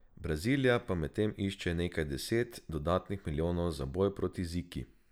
Brazilija pa medtem išče nekaj deset dodatnih milijonov za boj proti Ziki ...